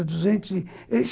Duzentos e